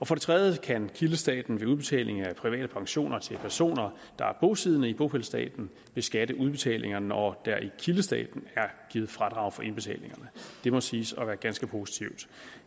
for det tredje kan kildestaten ved udbetaling af private pensioner til personer der er bosiddende i bopælsstaten beskatte udbetalinger når der i kildestaten er givet fradrag for indbetalinger det må siges at være ganske positivt